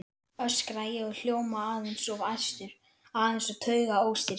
öskra ég og hljóma aðeins of æstur, aðeins of taugaóstyrkur.